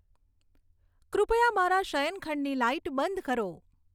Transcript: કૃપયા મારા શયનખંડની લાઈટ બંધ કરો